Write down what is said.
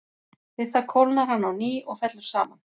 Við það kólnar hann á ný og fellur saman.